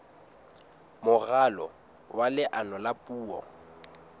moralo wa leano la puo